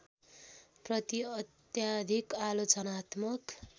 प्रति अत्याधिक आलोचनात्मक